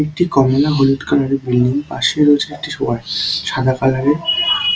একটি কমলা হলুদ কালারের বিল্ডিং পাশে রয়েছে একটি ওয়াজ সাদা কালারের ।